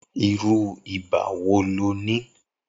Irù ibà wó ló ni?